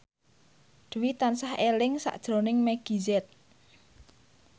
Dwi tansah eling sakjroning Meggie Z